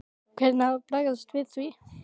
Hvernig á að bregðast við því?